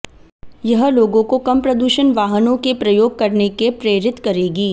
यह लोगों को कम प्रदूषण वाहनों के प्रयोग करने के प्रेरित करेगी